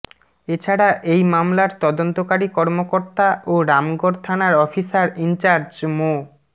এছাড়া এই মামলার তদন্তকারী কর্মকর্তা ও রামগড় থানার অফিসার ইনচার্জ মো